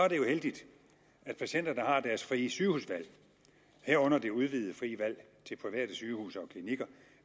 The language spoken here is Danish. heldigt at patienterne har deres frie sygehusvalg herunder det udvidede frie valg til private sygehuse og klinikker